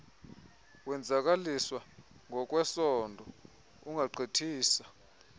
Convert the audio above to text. wenzakaliswa ngokwesondo ungagqithisa